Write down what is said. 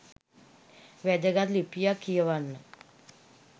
වැදගත් ලිපියක් කියවන්න